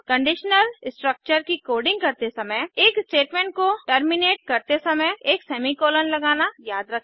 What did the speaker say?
conditional structure की coding करते समय एक स्टेटमेंट को टर्मिनेट करते समय एक सेमीकोलन लगाना याद रखें